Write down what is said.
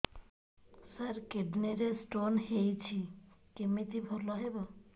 ସାର kidney ରେ stone ହେଇଛି କମିତି ଭଲ ହେବ